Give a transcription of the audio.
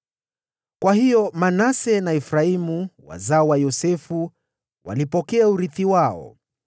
Kwa hiyo Manase na Efraimu, wazao wa Yosefu, walipokea urithi wao.